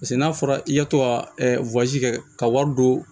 Paseke n'a fɔra i ye tɔ ka kɛ ka wari don